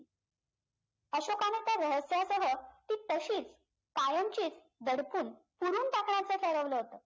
अशोकाने त्या रहस्यासह ती तशीच कायमचीच दडपून पुरून टाकण्याचं ठरवलं होतं